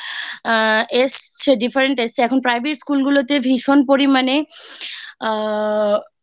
আ এসছে Different এসছে এখন Private School গুলোতে ভীষণ পরিমানে আ